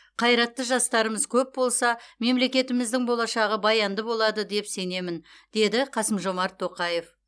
қайратты жастарымыз көп болса мемлекетіміздің болашағы баянды болады деп сенемін деді қасым жомарт тоқаев